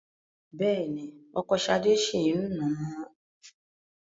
Bẹ́ẹ̀ ni, ọkọ Ṣadé ṣì ń nà á.